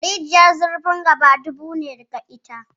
Rijiyar zurfin gaba dubu ne da ita.